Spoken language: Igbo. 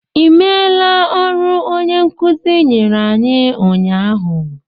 Ị mela ọrụ onye nkuzi nyere anyị ụnyahụ?